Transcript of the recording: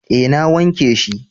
eh na wanke shi